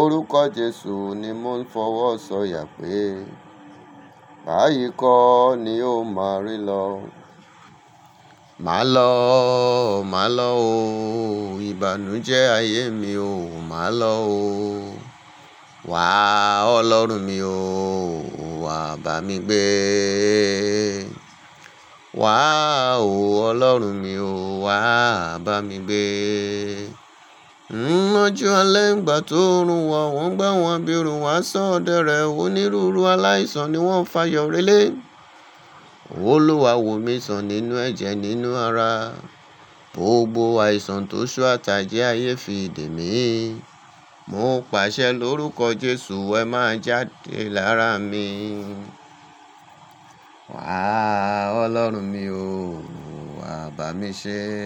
orúkọ Jesu ni mo ń fọwọ́ sọ ya pé, bayi kò ní o ma rí lọ. Ma lọ, ma lọ o, ìbànú jẹ ayé mi o, ma lọ o, wá ọlọ́run mi o, wá bá mi gbé. Wá o Ọlọ́run mi o wá bámi gbé. Nnu ọjọ́ alẹ́ ìgbà tó nrun wà, wọ́n gbà wọ́n abirun wà sọ̀ ọ̀dẹ̀rẹ̀, onírúurú aláìsàn ni wọ́n fà yọ̀rọ́lẹ̀. Olúwa wò mí sàn nínú ẹ̀jẹ̀ nínú ara gbogbo àìsàn tí oṣó àti àjẹ́ ayé fi dèmí. Mọ̀ pàṣẹ lórúkọ̀ Jésù, ẹ̀ má jádẹ̀ lára mi. Wàá, ọlọ́run mi o, wà bá mi ṣé.